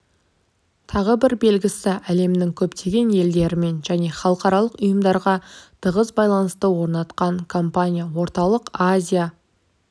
тағы бір белгілісі әлемнің көптеген елдерімен және халықаралық ұйымдармен тығыз байланыстар орнатқан компания орталық азия